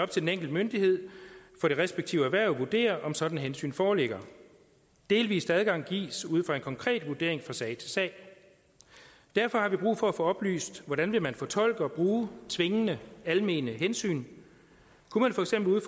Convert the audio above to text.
til den enkelte myndighed for det respektive erhverv at vurdere om sådanne hensyn foreligger delvis adgang gives ud fra en konkret vurdering fra sag til sag derfor har vi brug for at få oplyst hvordan man vil fortolke og bruge tvingende almene hensyn kunne man for eksempel